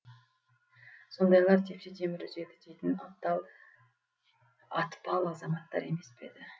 сондайлар тепсе темір үзеді дейтін атпал азаматтар емес пе еді